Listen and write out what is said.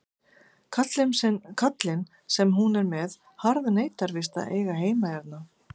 Kallinn sem hún er með harðneitar víst að eiga heima hérna.